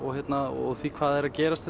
og því hvað er að gerast